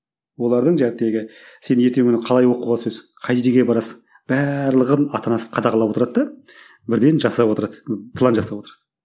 олардың сен ертеңгі күні қалай оқуға түсесің қайда жерге барасың барлығын ата анасы қадағалап отырады да бірден жасап отырады план жасап отырады